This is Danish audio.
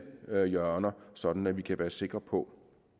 hjørner sådan at vi kan være sikre på